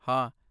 ਹਾਂ।